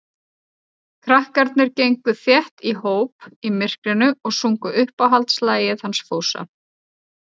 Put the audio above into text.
Krakkarnir gengu þétt í hóp í myrkrinu og sungu uppáhaldslagið hans Fúsa.